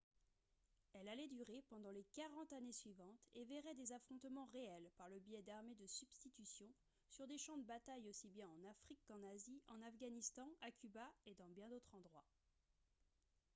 elle allait durer pendant les 40 années suivantes et verrait des affrontements réels par le biais d'armées de substitution sur des champs de bataille aussi bien en afrique qu'en asie en afghanistan à cuba et dans bien d'autres endroits